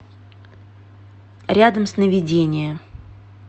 рядом сновидение